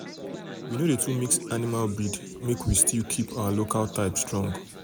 we no dey too mix animal breed make we still keep our local type strong. local type strong.